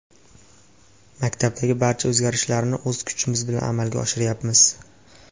Maktabdagi barcha o‘zgarishlarni o‘z kuchimiz bilan amalga oshiryapmiz.